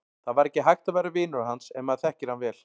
Það var ekki hægt að vera vinur hans ef maður þekkir hann vel.